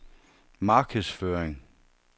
markedsføring